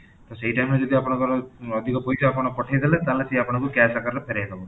ତ ସେଇ time ରେ ଯଦି ଆପଣଙ୍କର ଅଧିକ ପଇସା ପଠେଇ ଦେଲେ ତାହାଲେ ସିଏ ଆପଣଙ୍କୁ cash ଆକାରରେ ଫେରେଇ ଦବ